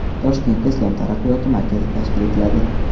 Toshkentda Islom taraqqiyot markazi tashkil etiladi.